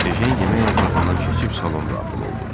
Ejen yemək otağından keçib salona daxil oldu.